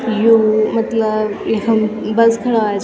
यु मतलब इखम बस खड़ा हुयां छ।